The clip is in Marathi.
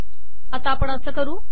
आता आपण असे करू